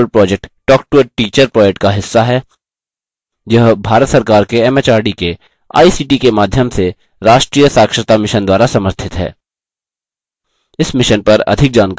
spoken tutorial project talktoa teacher project का हिस्सा है यह भारत सरकार के एमएचआरडी के आईसीटी के माध्यम से राष्ट्रीय साक्षरता mission द्वारा समर्थित है